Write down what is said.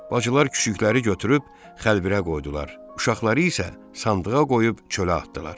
Bacılar küçükləri götürüb xəlbirə qoydular, uşaqları isə sandığa qoyub çölə atdılar.